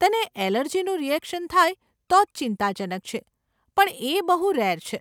તને અલર્જીનું રીએક્શન થાય તો જ ચિંતાજનક છે પણ એ બહુ રેર છે.